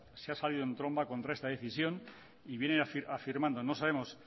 se ha salido en tromba contra esta decisión y vienen afirmando no sabemos